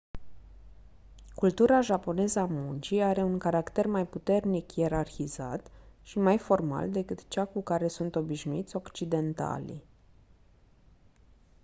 cultura japoneză a muncii are un caracter mai puternic ierarhizat și mai formal decât cea cu care sunt obișnuiți occidentalii